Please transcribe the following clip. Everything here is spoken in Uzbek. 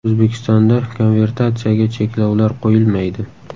O‘zbekistonda konvertatsiyaga cheklovlar qo‘yilmaydi.